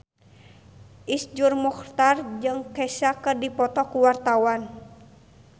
Iszur Muchtar jeung Kesha keur dipoto ku wartawan